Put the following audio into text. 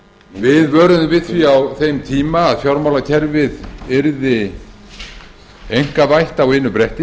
við vöruðum við því á þeim tíma að fjármálakerfið yrði einkavætt á einu bretti